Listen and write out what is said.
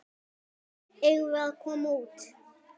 Eigum við að koma út?